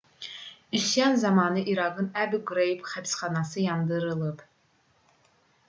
üsyan zamanı i̇raqın əbu qreyb həbsxanası yandırılıb